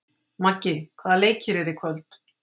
Maggi, hvaða leikir eru í kvöld?